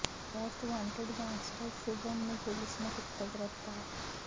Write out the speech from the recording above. most wanted gangster Shubham ਨੂੰ police ਨੇ ਕੀਤਾ ਗ੍ਰਿਫਤਾਰ